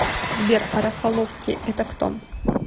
сбер а рафаловский это кто